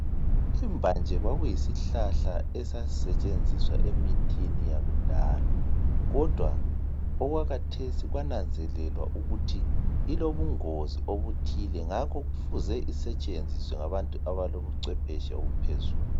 Imbanje kwakuyisihlahla esasisetshenziswa emithini yakudala kodwa okwakhathesi kwananzelelwa ukuthi ilobungozi obuthile ngakho kufuze isetshenziswe ngabantu abalobuchwepheshe obuphezulu.